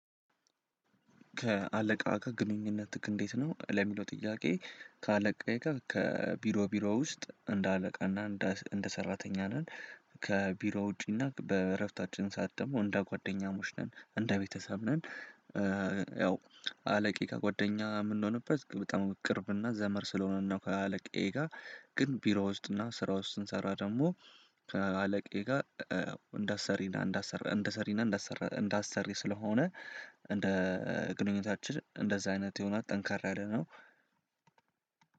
ከአለቃ ጋር ግንኙነትክ እንዴት ነው? ለሚለው ጥያቄ ከአለቃ ከቢሮ ቢሮ ውስጥ እንደ አለቃና እንደ ሰራተኛ ነን ከቢሮ ውጪና በእረፍታችን ሰዓት ደግሞ እንደ ጓደኛሞች ነን እንደ ቤተሰብ ነን። ያው አለቃዬ ከጓደኛ የምንሆንበት በጣም ቅርብና ዘመር ስለሆነ ነው። ከአለቄ ጋር ግን ቢሮ ውስጥና ስራ ውስጥ ስንሰራ ደግሞ ከአለቄ ጋር እንዳሰሪና እንዳሰራ እንዳሰሪና እንዳሰራ እንዳሰሪ ስለሆነ እንደ ግንኙነታችን እንደዛ አይነት የሆነ ጠንካራ ያለ ነው።